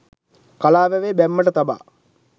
කලා වැවේ බැම්මට තබා